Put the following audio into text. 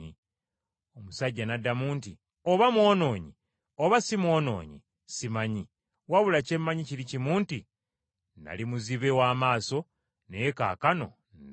Omusajja n’addamu nti, “Oba mwonoonyi oba si mwonoonyi simanyi, wabula kye mmanyi kiri kimu nti nnali muzibe w’amaaso, naye kaakano ndaba.”